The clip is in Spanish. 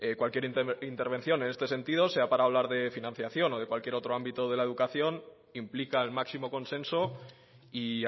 cualquier intervención en este sentido sea para hablar de financiación o de cualquier otro ámbito de la educación implica el máximo consenso y